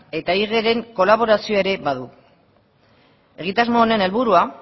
eta igeren kolaborazioa ere badu egitasmo honen helburua